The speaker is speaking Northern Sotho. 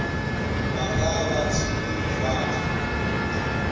ba ka ba thibile difate